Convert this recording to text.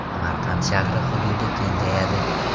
Samarqand shahri hududi kengayadi.